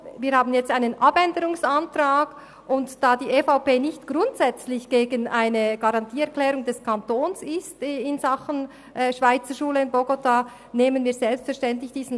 Wir haben jetzt einen Abänderungsantrag, und da die EVP in Sachen Schweizerschule Bogotá nicht grundsätzlich gegen eine Garantieerklärung des Kantons ist, nehmen wir diesen Abänderungsantrag selbstverständlich an.